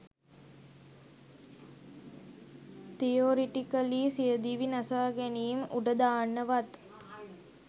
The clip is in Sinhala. තියොරිටිකලි සියදිවි නසාගැනීම් උඩදාන්න වත්